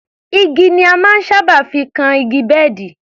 Igi ni a máa ń sábà fi kan igi bẹ́ẹ̀dì